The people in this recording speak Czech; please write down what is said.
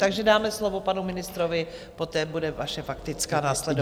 Takže dáme slovo panu ministrovi, poté bude vaše faktická následovat.